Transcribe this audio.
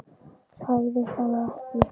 Hræðist hana ekki.